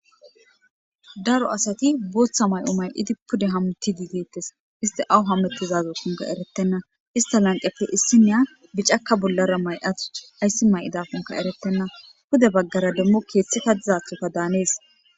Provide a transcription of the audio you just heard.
Daro asati booththa may'o may'idi pude hamutti diigeettes iste awu hamettizazo sunka erettenna ista lanqefe issi miya bicaka bullara may'atu ayssi may'idafunka eretenna pude baggara demmo keeththita dizathoka daanees.